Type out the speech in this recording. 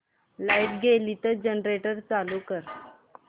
light गेली तर generator चालू कर